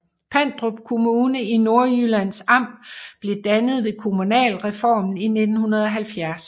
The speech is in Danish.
Pandrup Kommune i Nordjyllands Amt blev dannet ved kommunalreformen i 1970